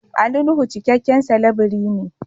Ali Nuhu cikakken salabirii ne.